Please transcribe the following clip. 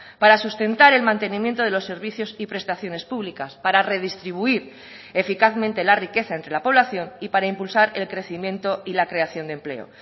para sustentar el mantenimiento de los servicios y prestaciones públicas para redistribuir eficazmente la riqueza entre la población y para impulsar el crecimiento y la creación de empleo